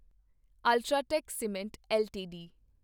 UltraTech cement LTD